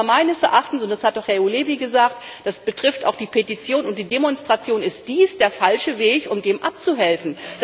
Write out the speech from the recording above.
Aber meines Erachtens das hat auch Herr Ujhelyi gesagt, das betrifft auch die Petition und die Demonstration ist dies der falsche Weg, um dem abzuhelfen.